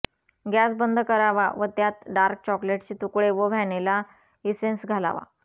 gas बंद करावा व त्यात डार्क चॉकलेटचे तुकडे व व्हॅनिला इसेन्स घालावा